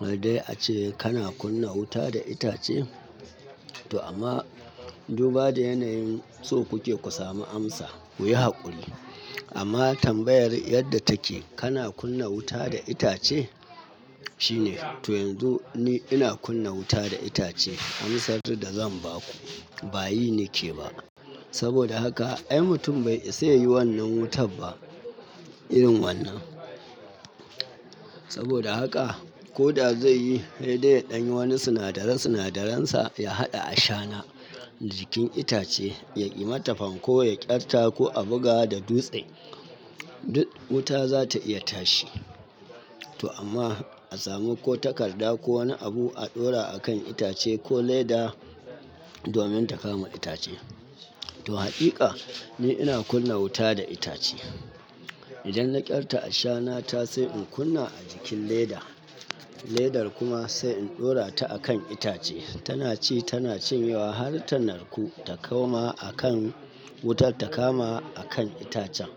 Wai dai ace kana kunna wuta da itace? To amma duba da yanayin so kuke ku sami amsa, ku yi haƙuri. Amma tambayar yadda take kana kunna wuta da itace? Shine. To yanzu ni ina kunna wuta da itace, amsar da zan ba ku bayi nike ba. Saboda haka ai mutum bai isa yayi wannan wutar ba irin wannan. Saboda haka ko da zai yi, sai dai ya ɗan yi wani sinadara sinadaransa ya haɗa ashana jikin itace, yai mata fanko ya ƙyarta ko a buga da dutse. Duk wuta za ta iya tashi. To amma a samu ko takarda ko wani abu a ɗora a kan itace ko leda domin ta kama itace. To haƙiƙa ni ina kunna wuta da itace. Idan na ƙyarta ashana ta sai in kunna a jikin leda, ledar kuma sai in ɗora ta a kan itace. Tana ci tana cinyewa har ta narku ta koma a kan wutar ta kama a kan itacen.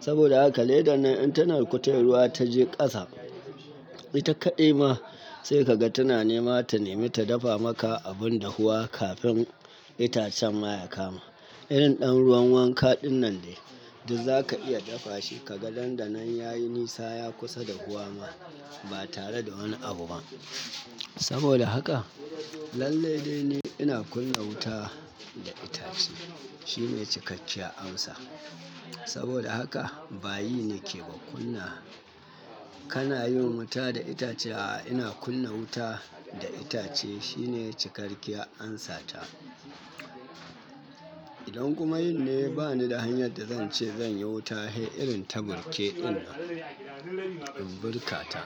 Saboda haka ledan nan in ta narku tai ruwa ta je ƙasa. Ita kaɗai ma sai ka ga tana nema ta nemi ta dafa maka abun dahuwa kafin itacen ma ya kama. Irin ɗan ruwan wanka ɗinnan dai duk za ka iya dafa shi, ka ga dandanan yayi nisa ya kusa dahuwa ma ba tare da wani abu ba. Saboda haka lallai dai ni ina kunna wuta da itace. Shine cikakkiyar amsa. Saboda haka bayi nike ba kunna. Kana yin wuta da itace? A'a ina kunna wuta da itace shine cikakkiyar amsa ta. Idan kuma yin ne bani da hanyar da zan ce zan yi wuta, hei irin ta burke innan in burka ta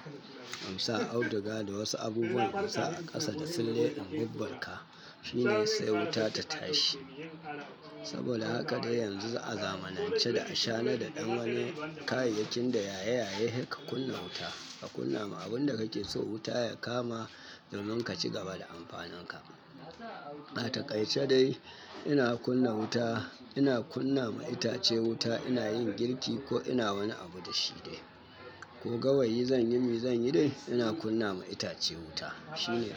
in sa auduga da wasu abubuwan in sa a ƙasa da sille in burburka. Shine sai wuta ta tashi. Saboda haka dai yanzu a zamanance da ashana da ɗan wani kayayyakin da yaye-yaye, hei ka kunna wuta, ka kunna ma abun da kake so wuta ya kama domin ka ci gaba da amfanin ka. A taƙaice dai ina kunna wuta, ina kunna ma itace wuta, ina yin girki ko ina wani abu da shi dai. Ko gawayi zan yi me zan yi dai ina kunna ma itace wuta shine amsa.